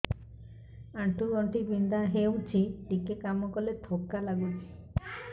ଆଣ୍ଠୁ ଗଣ୍ଠି ବିନ୍ଧା ହେଉଛି ଟିକେ କାମ କଲେ ଥକ୍କା ଲାଗୁଚି